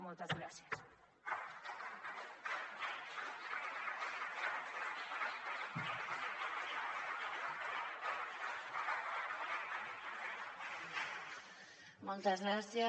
moltes gràcies